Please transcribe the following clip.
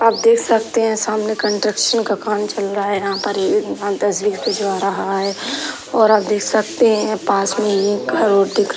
आप देख सकते हैं सामने कंट्रक्सन का काम चल रहा है। यहाँ पर ये तस्वीर खिंचवा रहा है और आप देख सकते हैं पास में ही एक घर ओर दिख रहा है।